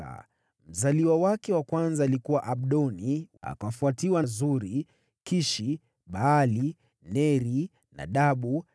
Mwanawe mzaliwa wa kwanza alikuwa Abdoni, akafuatiwa na Suri, Kishi, Baali, Neri, Nadabu,